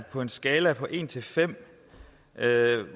på en skala fra en til fem